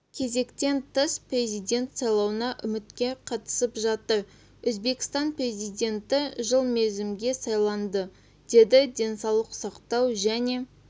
кезектен тыс президент сайлауына үміткер қатысып жатыр өзбекстан президенті жыл мерзімге сайланады деді денсаулық сақтау және